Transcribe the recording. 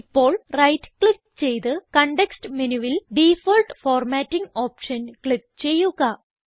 ഇപ്പോൾ right click ചെയ്ത് context മെനുവിൽ ഡിഫോൾട്ട് ഫോർമാറ്റിംഗ് ഓപ്ഷൻ ക്ലിക്ക് ചെയ്യുക